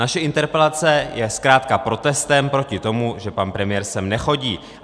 Naše interpelace je zkrátka protestem proti tomu, že pan premiér sem nechodí.